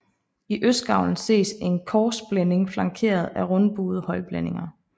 I østgavlen ses en korsblænding flankeret af rundbuede højblændinger